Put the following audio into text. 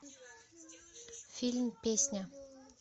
фильм песня